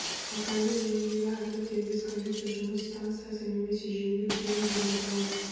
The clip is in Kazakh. локальды желідегі әрбір дербес компьютер жұмыс станциясы немесе желілік түйін деп аталады